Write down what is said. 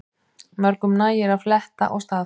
Mörgum nægir að fletta og staðfesta